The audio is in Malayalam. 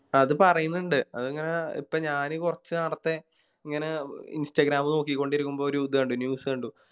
അത് പറയുന്നുണ്ട് അതിങ്ങനെ ഇപ്പൊ ഞാന് കൊറച്ച് നേരത്തെ ഇങ്ങനെ Instagram നോക്കിക്കൊണ്ടിരിക്കുമ്പോ ഒര് ഇത് കണ്ടു News കണ്ടു